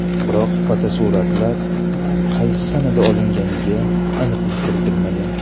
Biroq fotosuratlar qaysi sanada olinganiga aniqlik kiritilmagan.